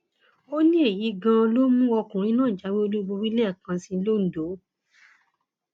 ó ní èyí gan an ló mú ọkùnrin náà jáwé olúborí lẹẹkan sí i londo